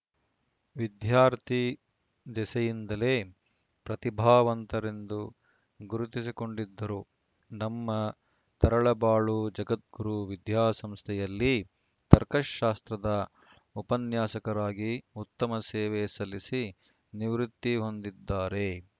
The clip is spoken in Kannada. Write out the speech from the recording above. ವಿದ್ಯಾರ್ಥಿ ದೆಸೆಯಿಂದಲೇ ಪ್ರತಿಭಾವಂತರೆಂದು ಗುರುತಿಸಿಕೊಂಡಿದ್ದರು ನಮ್ಮ ತರಳಬಾಳು ಜಗದ್ಗುರು ವಿದ್ಯಾಸಂಸ್ಥೆಯಲ್ಲಿ ತರ್ಕಶಾಸ್ತ್ರದ ಉಪನ್ಯಾಸಕರಾಗಿ ಉತ್ತಮ ಸೇವೆ ಸಲ್ಲಿಸಿ ನಿವೃತ್ತಿ ಹೊಂದಿದ್ದಾರೆ